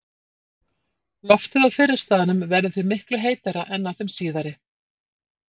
Loftið á fyrri staðnum verður því miklu heitara en á þeim síðari.